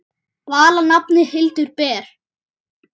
Vala nafnið Hildur ber.